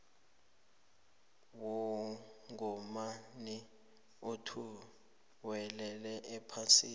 womgomani othuwelela iphasi